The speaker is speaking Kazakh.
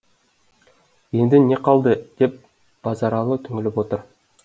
енді не қалды деп базаралы түңіліп отыр